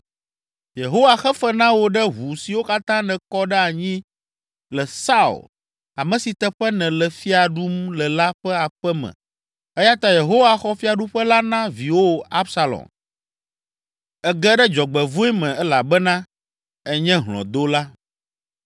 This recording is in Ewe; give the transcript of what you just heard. Yehowa xe fe na wò ɖe ʋu siwo katã nèkɔ ɖe anyi le Saul, ame si teƒe nèle fia ɖum le la ƒe aƒe me eya ta Yehowa xɔ fiaɖuƒe la na viwò Absalom. Ège ɖe dzɔgbevɔ̃e me elabena ènye hlɔ̃dola!”